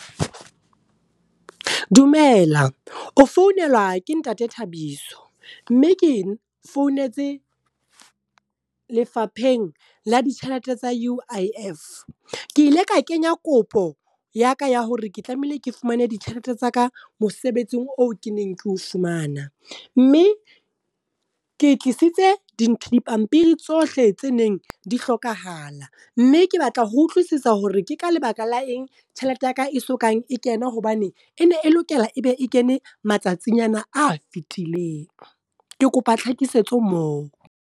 Dumela, o founelwa ke ntate Thabiso. Mme ke founetse lefapheng la ditjhelete tsa U_I_F. Ke ile ka kenya kopo, ya ka ya hore ke tlamehile ke fumane ditjhelete tsaka mosebetsing oo ke neng keo fumana. Mme ke tlisitse dintho di pampiri tsohle tse neng di hlokahala. Mme ke batla ho utlwisisa hore ke ka lebaka la eng, tjhelete yaka e sokang e kena hobane e ne e lokela ebe e kene matsatsing ana a fitileng. Ke kopa tlhakisetso moo.